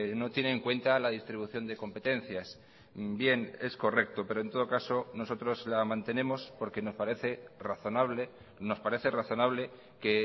no tiene en cuenta la distribución de competencias bien es correcto pero en todo caso nosotros la mantenemos porque nos parece razonable nos parece razonable que